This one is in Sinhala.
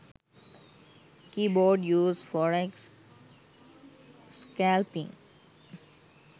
keybord use forex scalping